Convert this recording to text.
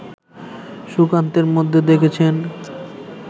সুকান্তের মধ্যে দেখেছেন